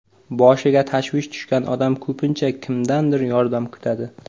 Boshiga tashvish tushgan odam ko‘pincha kimdandir yordam kutadi.